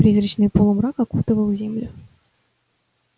призрачный полумрак окутывал землю